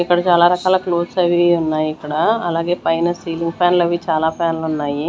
ఇక్కడ చాలా రకాల క్లోత్స్ అవి ఇవి ఉన్నాయి ఇక్కడ అలాగే పైన సీలింగ్ ఫ్యాన్ లు అవి చాలా ఫ్యాన్ లున్నాయి.